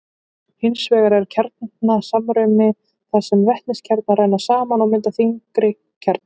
Hins vegar er kjarnasamruni þar sem vetniskjarnar renna saman og mynda þyngri kjarna.